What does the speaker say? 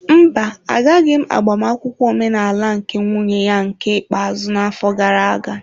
Mba, Agaghị m agbamnkwu ọmenala nke nwunye ya nke ikpeazụ n'afọ gara aga.